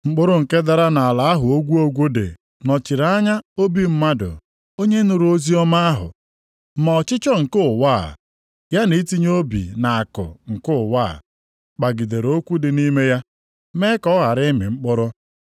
Mkpụrụ nke dara nʼala ahụ ogwu ogwu dị nọchiri anya obi mmadụ onye nụrụ oziọma ahụ, ma ọchịchọ nke ụwa a, ya na itinye obi nʼakụ nke ụwa a, kpagidere okwu dị nʼime ya, mee ka ọ ghara ịmị mkpụrụ.